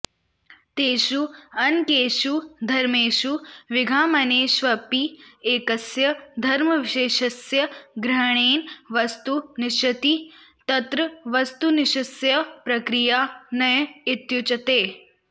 तेषु अनेकेषु धर्मेषु विद्यमानेष्वपि एकस्य धर्मविशेषस्य ग्रहणेन वस्तु निश्चीयते तत्र वस्तुनिश्चयस्य प्रक्रिया नय इत्युच्यते